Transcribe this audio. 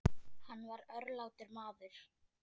Hann var örlátur maður.